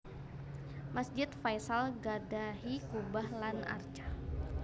Masjid Faisal gadhahi kubah lan arca